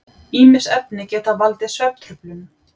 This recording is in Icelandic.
Ýmis efni geta líka valdið svefntruflunum.